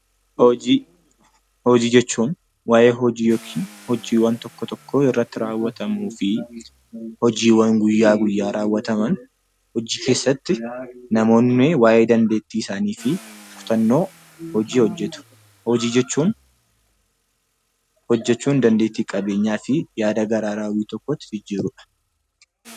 Hojii. Hojii jechuun waa'ee hojii yookiin hojiiwwan tokko tokkoo akkaataa itti rawwatamuu fi hojiiwwan guyyaa guyyaa rawwatamaniidha. Hojii keessatti waa'ee dandeettii isaanii fi hubannoo hojii hojjetuun. Hojii jechuun hojjechuun dandeettii waan tokko horachuuf fi yaada haaraa tokko gara hojiitti jijjiiruudha